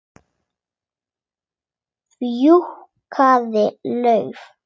Fjúkiði lauf.